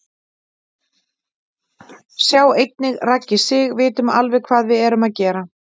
Sjá einnig: Raggi Sig: Vitum alveg hvað við erum að gera